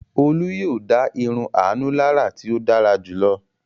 Olú yóò dá irun Àánú lára tí ó dára jù lọ.